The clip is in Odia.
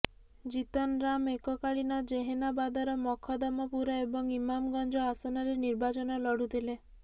ଜୀତନରାମ୍ ଏକକାଳୀନ ଜେହାନାବାଦର ମଖଦମପୁର ଏବଂ ଇମାମଗଞ୍ଜ ଆସନରେ ନିର୍ବାଚନ ଲଢୁଥିଲେ